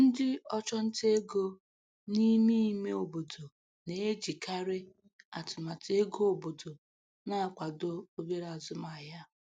Ndị ọchụnta ego n’ime ime obodo na-ejikarị atụmatụ ego obodo na-akwado obere azụmahịa.